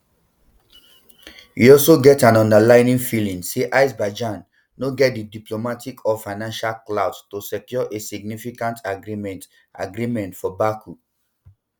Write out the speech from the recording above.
e also get an underlying feeling say azerbaijan no get di diplomatic or financial clout to secure a significant agreement agreement for baku